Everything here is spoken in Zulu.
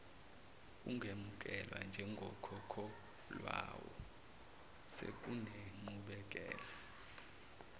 ungemukelwa njengokhokhelwayo sekunenqubekela